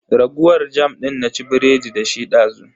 Raguwar jam din na ci biredi dashi dazu.